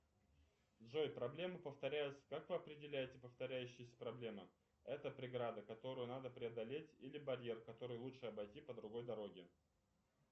джой проблема повторяется как вы определяете повторяющиеся проблемы это преграда которую надо преодолеть или барьер который лучше обойти по другой дороге